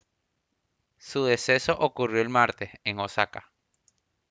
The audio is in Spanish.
su deceso ocurrió el martes en osaka